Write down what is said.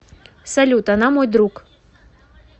салют она мой друг